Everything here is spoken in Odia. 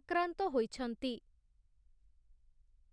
ଆକ୍ରାନ୍ତ ହୋଇଛନ୍ତିା ।